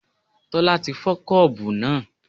Tola ti fọ́ Kọ́ọ̀bù náà.